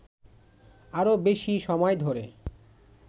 আরো বেশি সময় ধরে